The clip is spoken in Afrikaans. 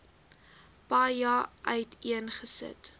paja uiteen gesit